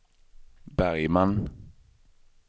Bergman